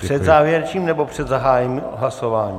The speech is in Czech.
Před závěrečným, nebo před zahájením hlasování?